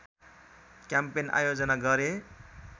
campaign आयोजना गरे